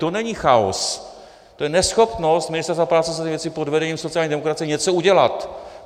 To není chaos, to je neschopnost Ministerstva práce a sociálních věcí pod vedením sociální demokracie něco udělat.